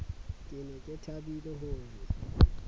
ne ke thabile ho re